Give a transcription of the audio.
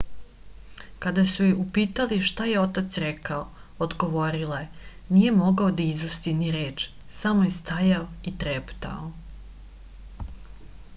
kada su je upitali šta je otac rekao odgovorila je nije mogao da izusti ni reč samo je stajao i treptao